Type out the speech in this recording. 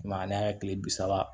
I m'a ye an y'a ye kile bi saba